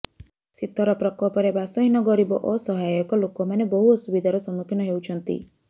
ଶୀତର ପ୍ରକୋପରେ ବାସହୀନ ଗରିବ ଅସହାୟକ ଲୋକମାନେ ବହୁ ଅସୁବିଧାର ସମ୍ମୁଖୀନ ହେଉଛନ୍ତି